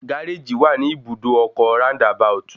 Gáréjì wà ní Ibùdó ọkọ̀ Round about